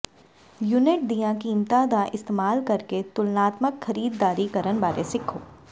unit ਦੀਆਂ ਕੀਮਤਾਂ ਦਾ ਇਸਤੇਮਾਲ ਕਰਕੇ ਤੁਲਨਾਤਮਕ ਖਰੀਦਦਾਰੀ ਕਰਨ ਬਾਰੇ ਸਿੱਖੋ